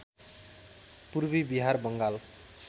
Purvi Bihar Bengal